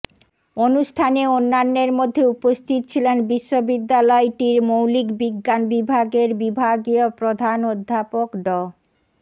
অনুষ্ঠানে অন্যান্যের মধ্যে উপস্থিত ছিলেন বিশ্ববিদ্যালয়টির মৌলিক বিজ্ঞান বিভাগের বিভাগীয় প্রধান অধ্যাপক ড